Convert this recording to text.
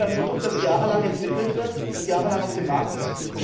Für ein Produkt, das jahrelang entwickelt wird und jahrelang auf dem Markt ist?